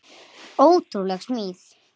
Ótrúleg smíð.